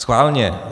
Schválně.